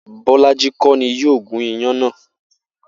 Bó̩lájí kó̩ ni yóò gún iyán náà